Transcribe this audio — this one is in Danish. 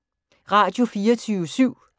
Radio24syv